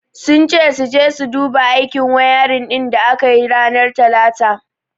Sun ce sun je su duba aikin wayarin din da aka yi ranar talata.